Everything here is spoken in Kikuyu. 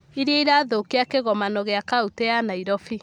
iria irathũũkia kĩgomano gĩa kauntĩ ya Nairobi.